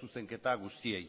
zuzenketa guztiei